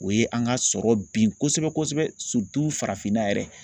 O ye an ka sɔrɔ bin kosɛbɛ kosɛbɛ farafinna yɛrɛ